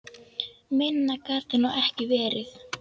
Minna gat það nú ekki verið.